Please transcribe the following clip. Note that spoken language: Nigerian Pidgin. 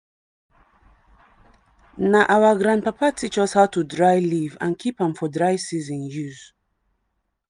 na our grandpapa teach us how to dry leaf and keep am for dry season use.